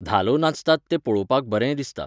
धालो नाचतात तें पळोवपाक बरें दिसता.